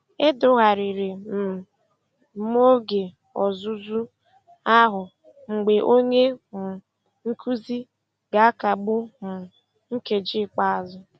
Edogharịrị um m oge ọzụzụ ahụ mgbe onye um nkuzi ga-akagbu um nkeji ikpeazụ.